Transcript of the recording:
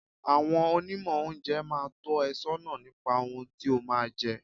Àwọn Onímọ̀ oúnjẹ máa tọ́ ẹ sọ́nà nípa ohun tí o máa jẹ.